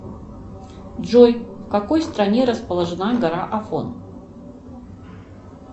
джой в какой стране расположена гора афон